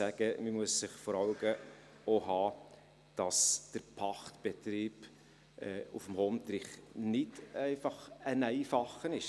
Man muss sich vor Augen halten, dass der Pachtbetrieb auf dem Hondrich nicht ein einfacher ist.